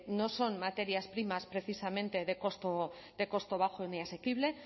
no son materias primas precisamente de costo bajo ni asequible